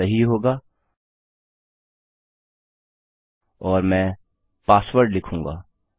यह सही होगा और मैं पासवर्ड लिखूँगा